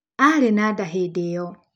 Aarĩ na nda hĩndĩ ĩyo.